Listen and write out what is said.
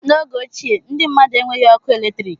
N'oge ochie, ndị mmmadụ enweghị ọkụ eletrik